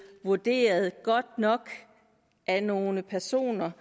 vurderet godt nok af nogle personer